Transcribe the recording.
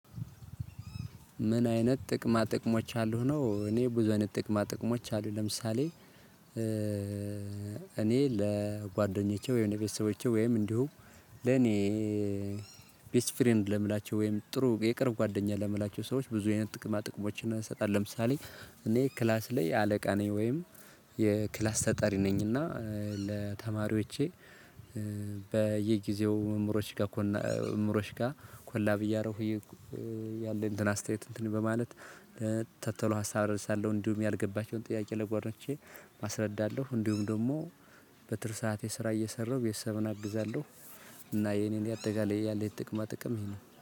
ምን? አይነት ጥቅማ ጥቅሞች አሉ ነው እኔ ብዙ አይነት ጥቅማ ጥቅሞች አሉ። ለምሳሌ እኔ ለጓደኞቼ ወይም ለቤተሰቦቼ ወይም እንዲሁ ለኔ ቤስት ፍሬንድ ለምላቸው ወይም ጥሩ የቅርብ ጓደኛ ለምላቸው ሰዎች ብዙ አይነት ጥቅማ ጥቅሞችን እንሰጣለን። ለምሳሌ እኔ ክላስ ላይ አለቃ ነኝ። ወይም የክላስ ተጠሪ ነኝ። እና ለተማሪዎቼ በየጊዜው መምሮች ጋር መምሮች ጋር ኮላብ እያረኩ ያለኝ እንትን አስተያየት እንትን በማለት ተተሎ ሀሳብ ረድሳለሁ። እንዲሁም ያልገባቸውን ጥያቄ ለጓደኞቼ አስረዳለሁ። እንዲሁም ደግሞ በትርፍ ሰዓት ሰራ እየሰራሁ ቤተሰብን አግዛለሁ። እና የኔን ያጠቃላይ ያለህኝ ጥቅማ ጥቅም ይሄ ነው